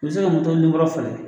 u bi se ka falen.